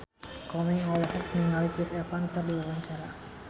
Komeng olohok ningali Chris Evans keur diwawancara